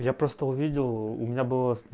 я просто увидел у меня было